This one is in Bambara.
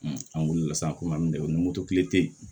an wulila sisan komi dɛmokili te yen